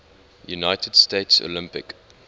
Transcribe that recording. united states olympic